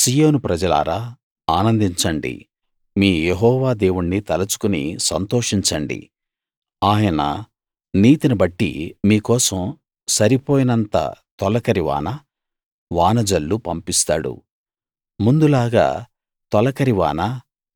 సీయోను ప్రజలారా ఆనందించండి మీ యెహోవా దేవుణ్ణి తలుచుకుని సంతోషించండి ఆయన నీతి బట్టి మీ కోసం సరిపోయినంత తొలకరి వాన వాన జల్లు పంపిస్తాడు ముందులాగా తొలకరి వాన